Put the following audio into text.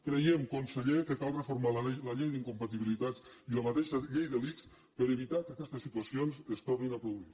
creiem conseller que cal reforma la llei d’incompatibilitats i la mateixa llei de l’ics per evitar que aquestes situacions es tornin a produir